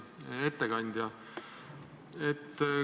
Auväärt ettekandja!